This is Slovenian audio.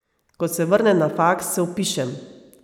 Ko se vrne na faks, se vpišem...